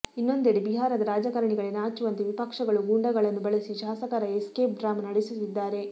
ಇನ್ನೊಂದೆಡೆ ಬಿಹಾರದ ರಾಜಕಾರಣಿಗಳೇ ನಾಚುವಂತೆ ವಿಪಕ್ಷಗಳು ಗೂಂಡಾಗಳನ್ನು ಬಳಸಿ ಶಾಸಕರ ಎಸ್ಕೇಪ್ ಡ್ರಾಮಾ ನಡೆಸುತ್ತಿದ್ದಾರೆ